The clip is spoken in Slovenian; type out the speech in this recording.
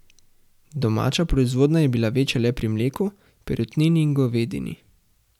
Domača proizvodnja je bila večja le pri mleku, perutnini in govedini.